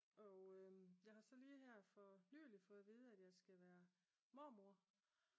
Og jeg har så lige her for nyligt fået at vide jeg skal være mormor